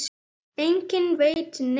Enginn veit neitt.